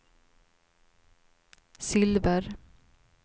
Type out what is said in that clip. silver